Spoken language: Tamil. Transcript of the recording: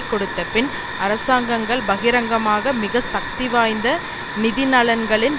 கொடுத்தபின் அரசாங்கங்கள் பகிரங்கமாக மிக சக்தி வாய்ந்த நிதி நலன்களின்